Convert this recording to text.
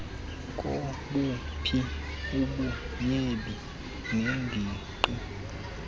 kobuphi ubutyebi neengingqi